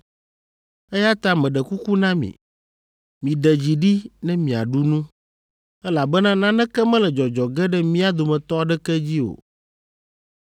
eya ta meɖe kuku na mi, miɖe dzi ɖi ne miaɖu nu, elabena naneke mele dzɔdzɔ ge ɖe mía dometɔ aɖeke dzi o.”